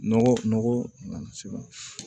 Nɔgɔ nɔgɔ